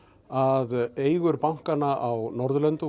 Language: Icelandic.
að eigur bankanna á Norðurlöndum